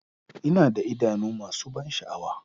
Ina da idanu masu ban sha'awa.